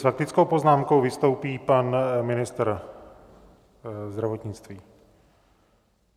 S faktickou poznámkou vystoupí pan ministr zdravotnictví.